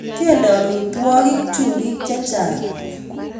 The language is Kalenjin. kende amitwokik chumbiik chechang